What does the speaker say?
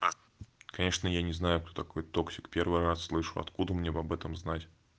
конечно я не знаю кто такой токсик первый раз слышу откуда мне об этом знать